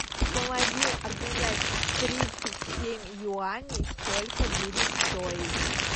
помоги обменять тридцать семь юаней сколько будет стоить